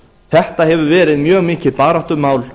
þetta hefur verið mjög mikið baráttumál